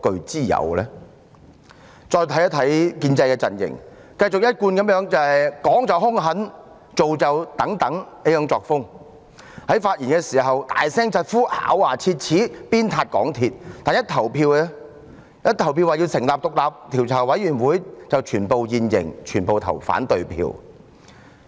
再看看建制派陣營，繼他們依舊是"講就兇狠，做就等等"，在發言時大聲疾呼、咬牙切齒地鞭撻港鐵公司，但在就成立專責委員會進行表決時便現形，全部投反對票。